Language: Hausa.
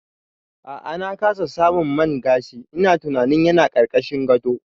A'a na kasa samun man gashin, ina tunanin yana ƙarƙashin gado